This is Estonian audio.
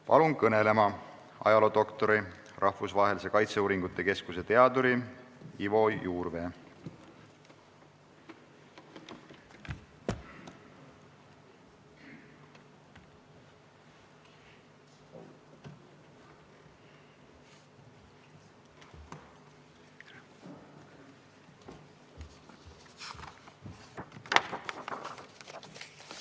Palun kõnelema Rahvusvahelise Kaitseuuringute Keskuse teaduri ajaloodoktor Ivo Juurvee!